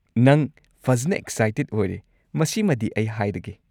ꯅꯪ ꯐꯖꯟꯅ ꯑꯦꯛꯁꯥꯏꯇꯦꯗ ꯑꯣꯏꯔꯦ, ꯃꯁꯤꯃꯗꯤ ꯑꯩ ꯍꯥꯏꯔꯒꯦ꯫